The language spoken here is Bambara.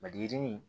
Maliyirinin